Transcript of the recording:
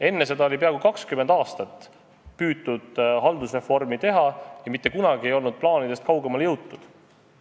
Enne seda oli peaaegu 20 aastat püütud haldusreformi teha, aga mitte kunagi plaanidest kaugemale ei jõutud.